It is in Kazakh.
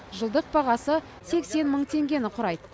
жылдық бағасы сексен мың теңгені құрайды